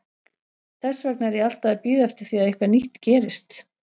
Þess vegna er ég alltaf að bíða eftir því að eitthvað nýtt gerist.